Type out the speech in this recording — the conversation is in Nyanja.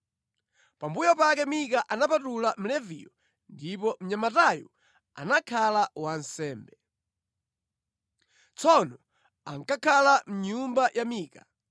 Pambuyo pake Mika anapatula Mleviyo ndipo mnyamatayu anakhala wansembe. Tsono ankakhala mʼnyumba ya Mika.